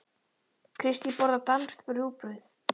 Kristín borðar danskt rúgbrauð.